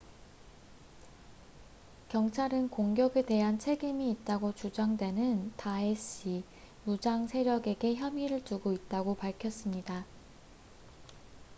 경찰은 공격에 대한 책임이 있다고 주장되는 다에시isil 무장세력에게 혐의를 두고 있다고 밝혔습니다